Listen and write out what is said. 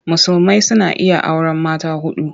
Musulmai suna iya auren mata huɗu.